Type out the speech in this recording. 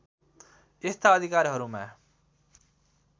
यस्ता अधिकारहरूमा